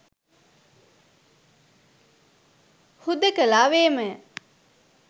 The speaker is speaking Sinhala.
හුදෙකලාවේමය